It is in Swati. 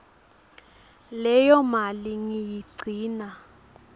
leyo mali ngiyigcina